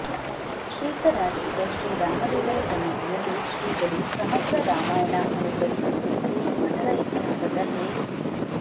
ಶ್ರೀಕರಾರ್ಚಿತ ಶ್ರೀರಾಮದೇವರ ಸನ್ನಿಧಿಯಲ್ಲೇ ಶ್ರೀಗಳು ಸಮಗ್ರ ರಾಮಾಯಣ ಅನುಗ್ರಹಿಸುತ್ತಿರುವುದು ಮಠದ ಇತಿಹಾಸದಲ್ಲೇ